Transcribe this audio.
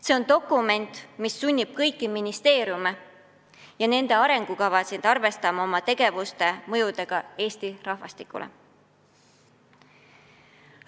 See on dokument, mis sunnib kõiki ministeeriume oma arengukavades arvestama oma tegevuse mõjuga Eesti rahvastikule.